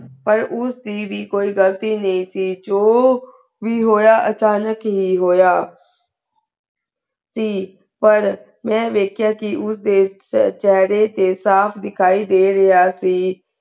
ਪਰ ਊ ਸੀ ਵੀ ਕੋਈ ਗਲਤੀ ਨਾਈ ਸੇ ਜੋ ਵੀ ਹੋਯਾ ਅਚਾਨਕ ਹੀ ਹੋਯਾ ਸੇ ਪਰ ਮੈ ਵਾਯ੍ਖ੍ਯਾ ਕੇ ਓਦੇ ਛੇ ਚੇਹਰੇ ਤੇ ਸਾਫ਼ ਦਿਖਾਈ ਦੇ ਰਾਯ੍ਹਾ ਸੇ